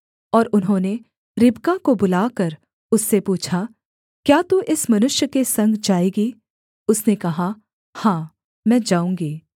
और उन्होंने रिबका को बुलाकर उससे पूछा क्या तू इस मनुष्य के संग जाएगी उसने कहा हाँ मैं जाऊँगी